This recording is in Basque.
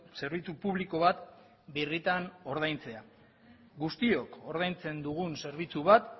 zerbitzu publiko bat birritan ordaintzea guztiok ordaintzen dugun zerbitzu bat